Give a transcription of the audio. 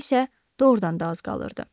vaxta isə doğrudan da az qalırdı.